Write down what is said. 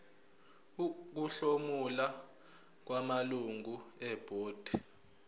ukuhlomula kwamalungu ebhodi